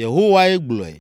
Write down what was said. Yehowae gblɔe.